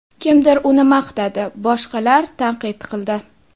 Kimdir uni maqtadi, boshqalar tanqid qildi.